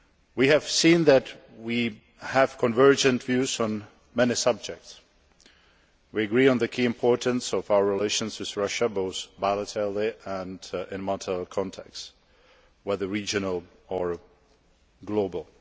We have seen that we have convergent views on many subjects. We agree on the key importance of our relations with Russia both bilaterally and in multilateral contexts, whether regional or global.